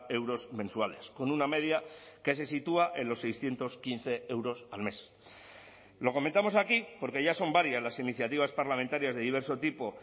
euros mensuales con una media que se sitúa en los seiscientos quince euros al mes lo comentamos aquí porque ya son varias las iniciativas parlamentarias de diverso tipo